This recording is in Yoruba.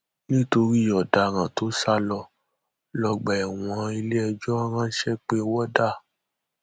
nítorí ọdaràn tó sá lọ lọgbà ẹwọn iléẹjọ ránṣẹ pe wọdà